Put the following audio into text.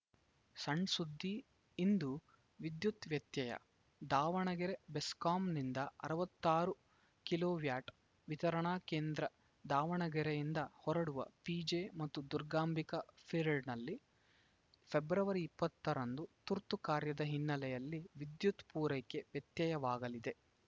ಸಣ್‌ ಸುದ್ದಿ ಇಂದು ವಿದ್ಯುತ್‌ ವ್ಯತ್ಯಯ ದಾವಣಗೆರೆ ಬೆಸ್ಕಾಂನಿಂದ ಅರವತ್ತಾರು ಕೆವಿ ವಿತರಣಾ ಕೇಂದ್ರ ದಾವಣಗೆರೆಯಿಂದ ಹೊರಡುವ ಪಿಜೆ ಮತ್ತು ದುರ್ಗಾಂಬಿಕಾ ಫೀಡರ್‌ನಲ್ಲಿ ಫೆಬ್ರವರಿ ಇಪ್ಪತ್ತರಂದು ತುರ್ತು ಕಾರ್ಯದ ಹಿನ್ನಲೆಯಲ್ಲಿ ವಿದ್ಯುತ್‌ ಪೂರೈಕೆ ವ್ಯತ್ಯಯವಾಗಲಿದೆ